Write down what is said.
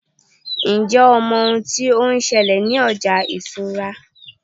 njé o mọ oun ti o n ṣẹlẹ ní ọjà ìṣura